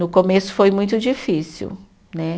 No começo foi muito difícil, né?